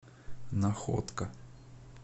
находка